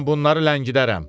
Mən bunları ləngidərəm.